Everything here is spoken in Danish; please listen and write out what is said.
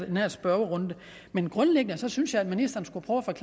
den her spørgerunde men grundlæggende synes jeg at ministeren skulle prøve at